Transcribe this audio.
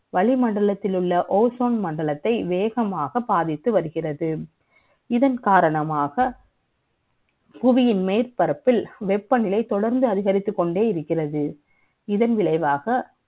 வளிமண்டலத்தில் உள்ள Ozone மண்டலத்தை வேகமாக பாதித்து வருகிறது இதன் காரணமாக. புவியின் மேற்பரப்பில் வெப்பநிலை தொடர்ந்து அதிகரித்துக் கொண்டே இருக்கிறது இதன் விளைவாக